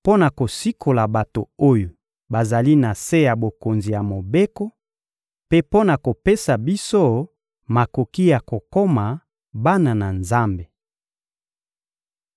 mpo na kosikola bato oyo bazali na se ya bokonzi ya Mobeko, mpe mpo na kopesa biso makoki ya kokoma bana na Nzambe.